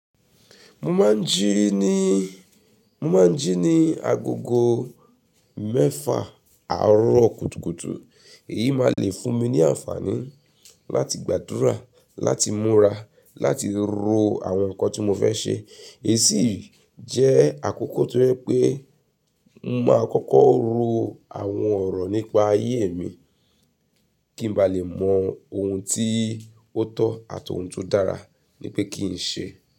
Mo máa ń jí ní, mo máa ń jí ní agogo mẹ́fà àárọ̀ kùtùkùtù. Èyí máa le fún mi ní àǹfààní láti gbàdúrà, láti múra, láti ro àwọn nǹkan tí mo fẹ́ ṣe. È sí jẹ́ àkókò tó yẹ pé mo máa kọ́kọ́ ro àwọn ọ̀rọ̀ nípa ayé mi kí n ba lè mọ ohun tí ó tọ́ àtọ̀ ohun tó dára ní pé kí n ṣe.